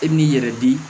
E m'i yɛrɛ di